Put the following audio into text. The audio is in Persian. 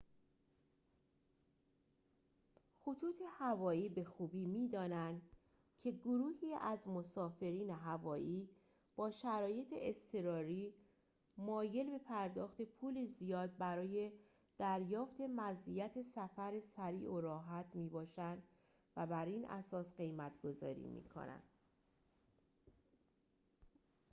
خطوط هوایی به خوبی می‌دانند که گروهی از مسافرین هوایی با شرایط اضطراری مایل به پرداخت پول زیاد برای دریافت مزیت سفر سریع و راحت می‌باشند و بر این اساس قیمت‌گذاری می‌کنند